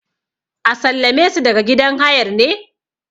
a sallame su daga gidan hayar ne?